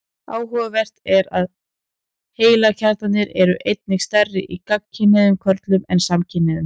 Áhugavert er að heilakjarnarnir eru einnig stærri í gagnkynhneigðum körlum en samkynhneigðum.